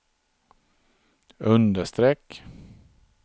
understreck